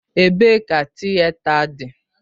Ebee ka Tịeta dị?